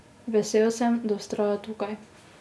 Vesel sem, da vztraja tukaj.